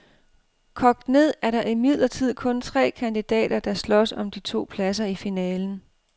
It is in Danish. Kogt ned er der imidlertid kun tre kandidater, der slås om de to pladser i finalen.